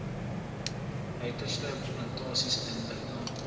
uiterstes plantasies indringerbosse